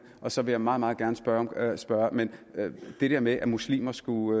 og så vil jeg meget meget gerne svare svare men hvad det der med at muslimer skulle